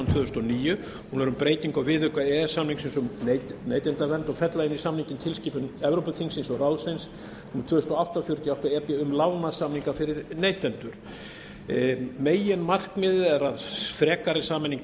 þúsund og níu hún er um breytingu á viðauka e e s samningsins um neytendavernd og fella inn í samninginn tilskipun evrópuþingsins og evrópuráðsins númer tvö þúsund og átta fjörutíu og átta e b um lágmarkssamninga fyrir neytendur meginmarkmiðið er að frekari sameining